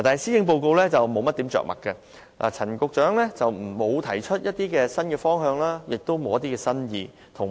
施政報告在這方面着墨不多，陳帆局長亦無提出新方向，也新意欠奉。